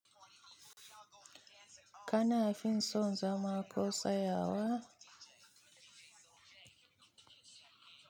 Kana fin son zama ko tsayawa.